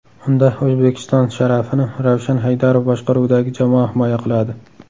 Unda O‘zbekiston sharafini Ravshan Haydarov boshqaruvidagi jamoa himoya qiladi.